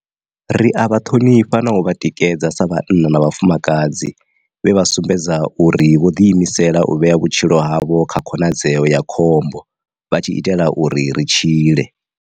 Ri a vha ṱhonifha na u vha tikedza sa vhanna na vhafumakadzi vhe vha sumbedza uri vho ḓi imisela u vhea vhutshilo havho kha khonadzeo ya khombo vha tshi itela uri ri tshile.